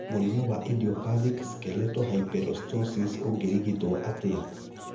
Mũrimũ wa idiopathic skeletal hyperostosis ũngĩrigitwo atĩa?